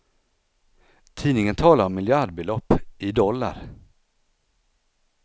Tidningen talar om miljardbelopp i dollar.